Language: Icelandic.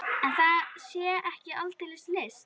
En það sé ekki aldeilis list.